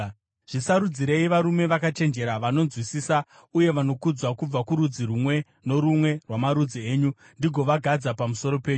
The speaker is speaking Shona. Zvisarudzirei varume vakachenjera, vanonzwisisa uye vanokudzwa kubva kurudzi rumwe norumwe rwamarudzi enyu, ndingovagadza pamusoro penyu.”